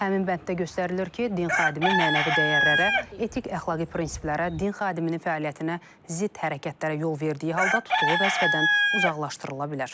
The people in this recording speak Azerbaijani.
Həmin bənddə göstərilir ki, din xadimi mənəvi dəyərlərə, etik-əxlaqi prinsiplərə, din xadiminin fəaliyyətinə zidd hərəkətlərə yol verdiyi halda tutduğu vəzifədən uzaqlaşdırıla bilər.